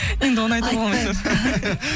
енді оны айтуға